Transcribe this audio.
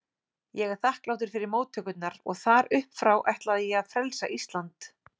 Ég er þakklátur fyrir móttökurnar og þar uppfrá ætlaði ég að frelsa Ísland.